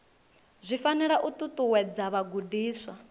zwi fanela u ṱuṱuwedza vhagudiswa